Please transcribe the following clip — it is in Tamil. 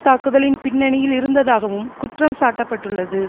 தாக்குதலின் பின்னணியில் இருந்ததாகவும் குற்றம் சாட்ட பட்டுள்ளது